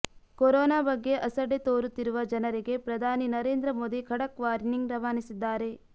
corona ಬಗ್ಗೆ ಅಸಡ್ಡೆ ತೋರುತ್ತಿರುವ ಜನರಿಗೆ ಪ್ರಧಾನಿ ನರೇಂದ್ರ ಮೋದಿ ಖಡಕ್ ವಾರ್ನಿಂಗ್ ರವಾನಿಸಿದ್ದಾರೆ